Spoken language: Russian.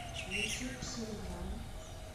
девятьсот пятьдесят грамм